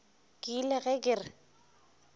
ke ile ge ke re